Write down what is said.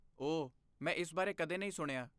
ਓਹ, ਮੈਂ ਇਸ ਬਾਰੇ ਕਦੇ ਨਹੀਂ ਸੁਣਿਆ।